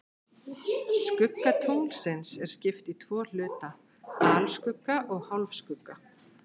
Skugga tunglsins er skipt í tvo hluta, alskugga og hálfskugga.